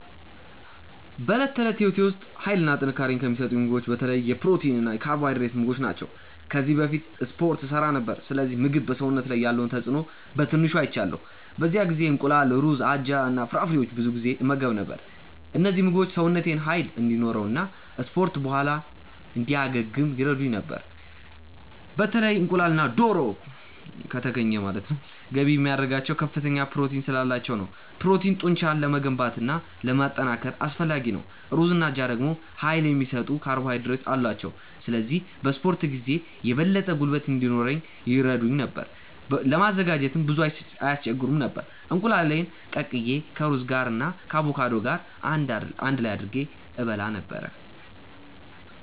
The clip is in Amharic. በዕለት ተዕለት ሕይወቴ ውስጥ ኃይልና ጥንካሬ የሚሰጡኝን ምግቦች በተለይ የፕሮቲን እና የካርቦሃይድሬት ምግቦች ናቸው። ከዚህ በፊት እስፖርት እሠራ ነበር፣ ስለዚህ ምግብ በሰውነት ላይ ያለውን ተጽእኖ በትንሹ አይቻለሁ። በዚያ ጊዜ እንቁላል፣ ሩዝ፣ አጃ እና ፍራፍሬዎችን ብዙ ጊዜ እመገብ ነበር። እነዚህ ምግቦች ሰውነቴን ኃይል እንዲኖረው እና ከ እስፖርት በኋላ እንዲያገግም ይረዱኝ ነበር። በተለይ እንቁላልና ዶሮ( ከተገኘ ) ገንቢ የሚያደርጋቸው ከፍተኛ ፕሮቲን ስላላቸው ነው። ፕሮቲን ጡንቻን ለመገንባት እና ለማጠናከር አስፈላጊ ነው። ሩዝና አጃ ደግሞ ኃይል የሚሰጡ ካርቦሃይድሬቶች አሏቸው፣ ስለዚህ በ እስፖርት ጊዜ የበለጠ ጉልበት እንዲኖረኝ ይረዱኝ ነበር። ለማዘጋጀትም ብዙም አይስቸግሩም ነበር፤ እንቁላሉን ቀቅዬ ከሩዝ ጋር እና ከአቮካዶ ገር አንድ ላይ አድርጌ እበላ ነበረ።